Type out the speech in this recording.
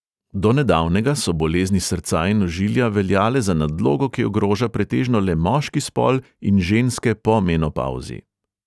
Do nedavnega so bolezni srca in ožilja veljale za nadlogo, ki ogroža pretežno le moški spol in ženske po menopavzi.